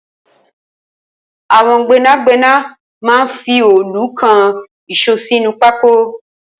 Awọn gbẹnágbẹná mà n fi òòlú kán iṣó sinú pákó